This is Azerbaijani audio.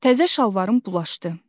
Təzə şalvarım bulaşdı.